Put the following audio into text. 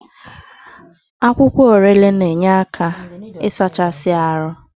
Akwụkwọ Orele na-enyere aka isachaa ahụ.